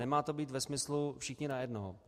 Nemá to být ve smyslu všichni na jednoho.